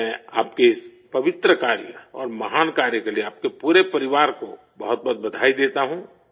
میں آپ کے اس مقدس کام اور عظیم کام کے لیے آپ کی پوری فیملی کو بہت بہت مبارکباد دیتا ہوں